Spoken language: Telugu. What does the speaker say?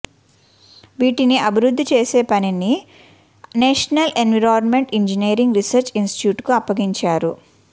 వీటిని అభివృద్ధి చేసే పనిని నేషనల్ ఎన్విరాన్మెంటల్ ఇంజినీరింగ్ రీసెర్చ్ ఇన్స్టిట్యూట్కు అప్పగించారు